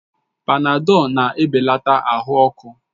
Panadọlu na-ebelatakwa ahụ ọkụ